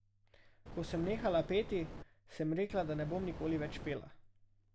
Ko sem nehala peti, sem rekla, da ne bom nikoli več pela.